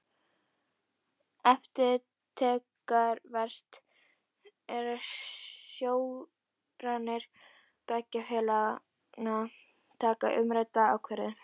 Eftirtektarvert er að stjórnir beggja félaganna taka umrædda ákvörðun.